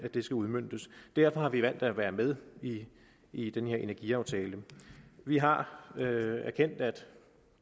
skal udmøntes derfor har vi valgt at være med i den her energiaftale vi har erkendt at